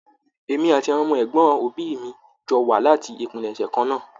Èmi àti àwọn ọmọ ẹgbọn òbí mi jọ wà láti ìpilẹ̀ṣẹ̀ kan náà.